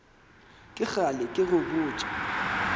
ke kgale ke go botša